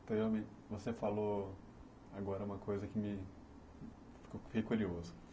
você falou agora uma coisa que me... Fiquei curioso.